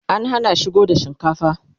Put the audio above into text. an Hana shigo da shinkafa